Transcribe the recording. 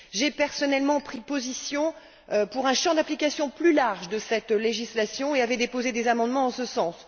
J'ai personnellement pris position pour un champ d'application plus large de cette législation et j'avais déposé des amendements en ce sens.